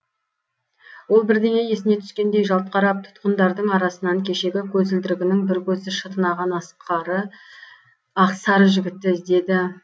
ол бірдеңе есіне түскендей жалт қарап тұтқындардың арасынан кешегі көзілдірігінің бір көзі шытынаған ақ сары жігітті іздеді